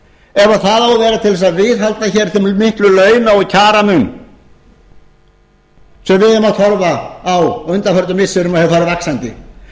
ef það á að vera til þess að viðhalda hér þessum mikla launa og kjaramun sem við erum að horfa á á undanförnum missirum og hefur farið vaxandi